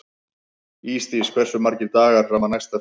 Ísdís, hversu margir dagar fram að næsta fríi?